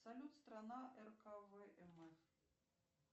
салют страна рквм